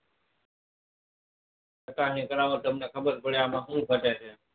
ચકાસણી કરાવ્યા પછી ખબર પડે કે આમાં સુ ગટે છે?